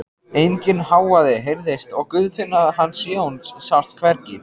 Enginn hávaði heyrðist og Guðfinna hans Jóns sást hvergi.